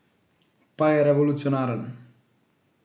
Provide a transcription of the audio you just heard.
Pa je revolucionaren!